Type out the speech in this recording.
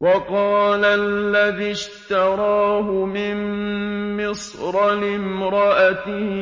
وَقَالَ الَّذِي اشْتَرَاهُ مِن مِّصْرَ لِامْرَأَتِهِ